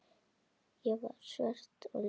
Ég var svört og ljót.